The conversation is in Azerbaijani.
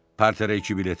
Parterə iki bilet ver.